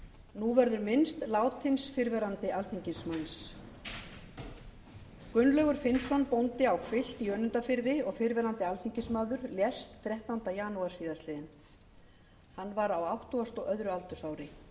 nú verður minnst látins fyrrverandi alþingismanns gunnlaugur finnsson bóndi á hvilft í önundarfirði og fyrrverandi alþingismaður lést þrettánda janúar síðastliðinn hann var á áttugasta og öðru aldursári